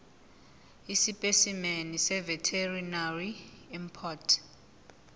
esipesimeni seveterinary import